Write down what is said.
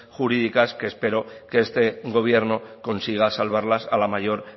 jurídicas que espero que este gobierno consiga salvarlas a la mayor